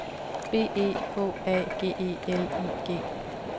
B E H A G E L I G